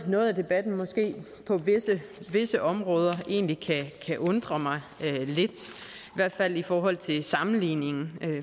noget af debatten måske på visse områder egentlig kan undre mig lidt i hvert fald i forhold til sammenligningen